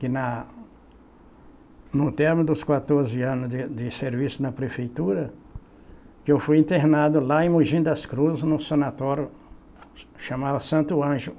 que na, no término dos quatorze anos de de serviço na prefeitura, que eu fui internado lá em Mogi das Cruzes, num sanatório, chamava Santo Anjo.